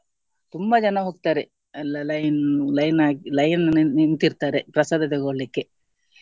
ತುಂಬ ಜನ ಹೋಗ್ತಾರೆ ಎಲ್ಲ line, line ಹಾಕಿ line ನಿಂತಿರ್ತಾರೆ ಪ್ರಸಾದ ತೊಗೊಳ್ಳಿಕ್ಕೆ.